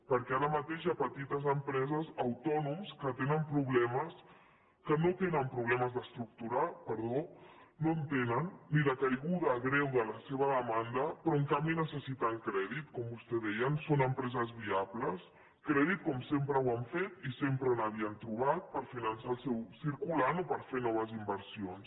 perquè ara mateix hi ha petites empreses i autònoms que no tenen problemes d’estructura no en tenen ni de caiguda greu de la seva demanda però en canvi necessiten crèdit com vostè deia són empreses viables crèdit com sempre ho han fet i sempre n’havien trobat per finançar el seu circulant o per fer noves inversions